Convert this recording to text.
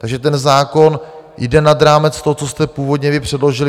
Takže ten zákon jde nad rámec toho, co jste původně vy předložili.